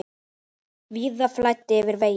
Víða flæddi yfir vegi.